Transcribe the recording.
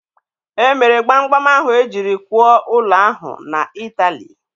E mere gbam gbam ahụ e jiri kwụọ ụlọ ahụ na Ịtali.